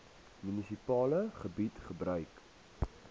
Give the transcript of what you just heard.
munisipale gebied gebruik